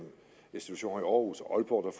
institutioner i århus og aalborg og